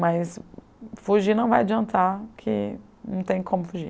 Mas fugir não vai adiantar, porque não tem como fugir.